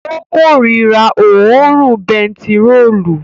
Ó korira òórùn bentiróòlù